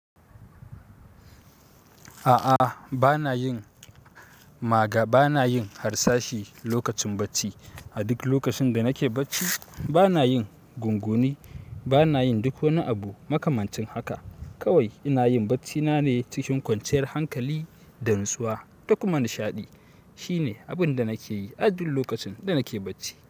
A'a banayin magab banayin harsashi lokacin bacci. A duk lokacin da nake bacci bana yin gunguni, bana yin duk wani abu makamancin haka. Kawai inayin bacci nane cikin kwanciyar hankali da nutsuwa dakuma nishaɗi shine abin da nake yi a duk lokacin da nake bacci.